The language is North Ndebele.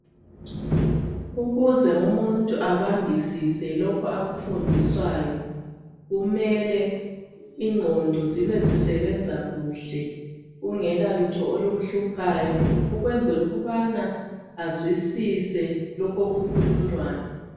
Ukuze umuntu abambisise lokhu akufundiswayo kumele ingqondo zibe zisebenza kuhle kungela lutho olumhluphayo ukwenzela ukubana azwisise lokho okukhulunywayo.